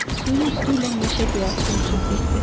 Suyun üstü ilə meşə göyərçini uçub getdi.